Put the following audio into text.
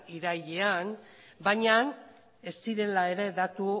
irailean baina ez zirela ere datu